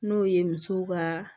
N'o ye musow ka